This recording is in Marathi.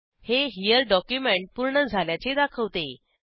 हे हेरे डॉक्युमेंट पूर्ण झाल्याचे दाखवते